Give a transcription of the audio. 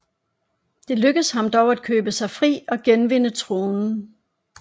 Det lykkedes ham dog at købe sig fri og genvinde tronen